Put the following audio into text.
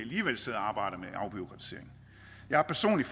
afbureaukratisering jeg har personligt